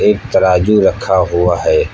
एक तराजू रखा हुआ है।